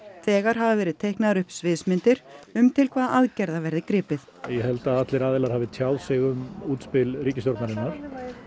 þegar hafa verið teiknaðar upp sviðsmyndir um til hvaða aðgerða verði gripið ég held að allir aðilar hafi tjáð sig um útspil ríkisstjórnarinnar